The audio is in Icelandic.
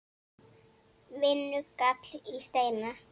Vinnu! gall í Steina.